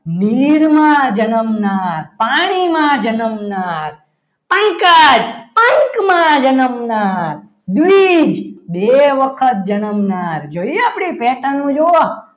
નીર માં જન્મનાર પાણીમાં જન્મનાર પંકજ પંખમાં જન્મનાર દ્વિજ બે વખત જન્મનાર જોયું આપણી pattern જોવો.